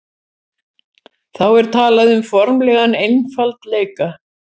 þá er talað um formlegan einfaldleika